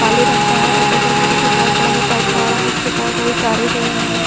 काले रंग का है और बगल में देखिए बहुत बड़ा सा ट्रांसफॉर्म जिससे बोहत सारी तारे गई हैं।